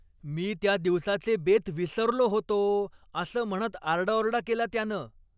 मी त्या दिवसाचे बेत विसरलो होतो असं म्हणत आरडाओरडा केला त्यानं.